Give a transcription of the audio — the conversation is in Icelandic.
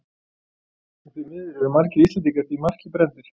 Og því miður eru margir Íslendingar því marki brenndir.